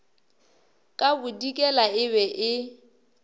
ka bodikela e be e